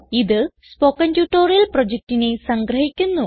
ഇത് spoken tutorial പ്രൊജക്റ്റിനെ സംഗ്രഹിക്കുന്നു